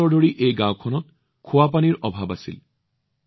বহু বছৰ ধৰি এই গাওঁখনত সতেজ পানীৰ অভাৱ আছিল